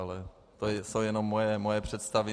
Ale to jsou jenom moje představy.